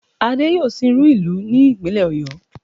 Adé yóò sìnrú ìlú ní ìpínlẹ̀ Ọ̀yó